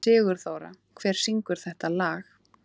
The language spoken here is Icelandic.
Sigurþóra, hver syngur þetta lag?